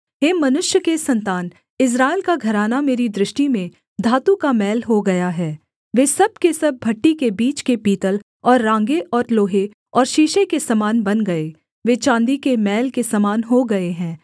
हे मनुष्य के सन्तान इस्राएल का घराना मेरी दृष्टि में धातु का मैल हो गया है वे सब के सब भट्ठी के बीच के पीतल और राँगे और लोहे और शीशे के समान बन गए वे चाँदी के मैल के समान हो गए हैं